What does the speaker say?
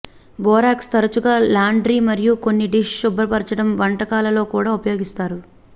borax తరచుగా laundry మరియు కొన్ని డిష్ శుభ్రపరచడం వంటకాలలో కూడా ఉపయోగిస్తారు